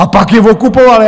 A pak je okupovali.